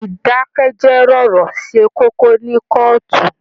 Idakẹjẹ rọ̀rọ̀ ṣe kókó ni kọọtù.